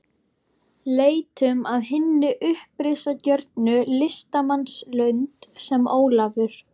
Leitum að hinni uppreisnargjörnu listamannslund, sem Ólafur